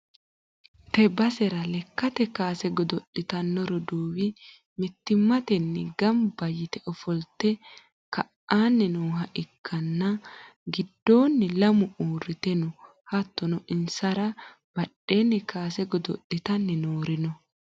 tee basera lekkate kaase godo'litanno roduuwi mittimmatenni gamba yite footo ka'anni nooha ikkanna, insa giddoonni lamu uurrite no, hattono insara badheenni kaase godo'litanni noori no.